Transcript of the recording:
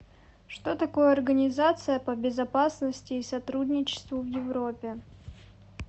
что такое организация по безопасности и сотрудничеству в европе